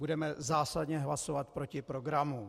Budeme zásadně hlasovat proti programu.